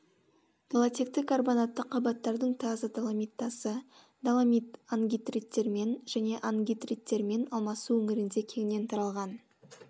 галотекті карбонатты қабаттардың таза доломит тасы доломит ангидриттермен және ангидриттермен алмасу өңірінде кеңінен таралған